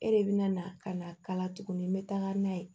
E de bɛ na ka na kala tuguni n bɛ taga n'a ye